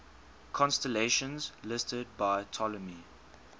constellations listed by ptolemy